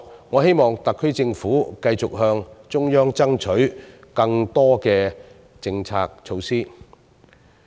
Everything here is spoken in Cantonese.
我希望特區政府往後繼續向中央爭取更多此類政策措施。